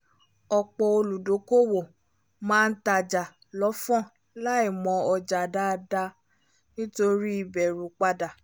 ọ̀pọ̀ olùdókòwò máa n tajà lọ́fọ̀n láì mọ̀ ọjà dáadáa nítorí bẹ̀rù padà